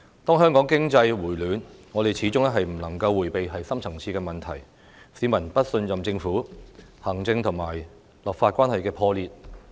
當香港經濟回暖，我們始終不能迴避深層次的問題，市民不信任政府，行政和立法關係破裂。